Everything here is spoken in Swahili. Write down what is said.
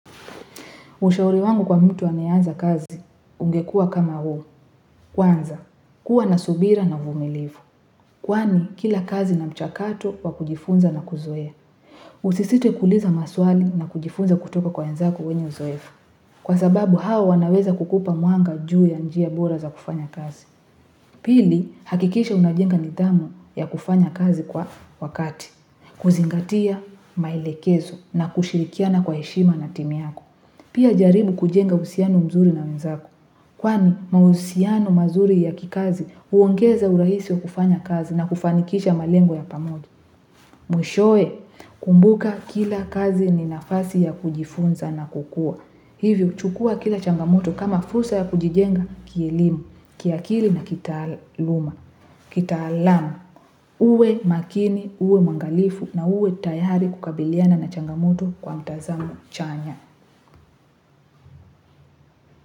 Ushauri wangu kwa mtu anayeanza kazi, ungekua kama huu, kwanza, kuwa na subira na uvumilifu. Kwani kila kazi na mchakato wa kujifunza na kuzoe. Usisite kuuliza maswali na kujifunza kutoka kwa wenzako wenye uzoefu. Kwa sababu hao wanaweza kukupa mwanga ju ya njia bora za kufanya kazi. Pili, hakikisha unajenga nithamu ya kufanya kazi kwa wakati. Kuzingatia maelekezo na kushirikiana kwa heshima na timu yako. Pia jaribu kujenga uhusiano mzuri na wenzako. Kwani mahusiano mazuri ya kikazi uongeza urahisi wa kufanya kazi na kufanikisha malengo ya pamoja. Mwishowe, kumbuka kila kazi ni nafasi ya kujifunza na kukua. Hivyo, chukua kila changamoto kama fursa ya kujijenga kielimu, kiakili na kitaaluma. Kita alamu, uwe makini, uwe mwangalifu na uwe tayari kukabiliana na changamoto kwa mtazamo chanya.